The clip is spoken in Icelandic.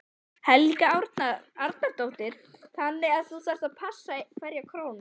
Helga Arnardóttir: Þannig að þú þarft að passa hverja krónu?